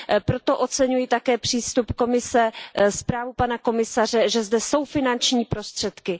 Proto také oceňuji přístup Komise, zprávu pana komisaře, že zde jsou finanční prostředky.